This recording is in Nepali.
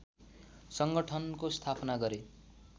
सङ्गठनको स्थापना गरे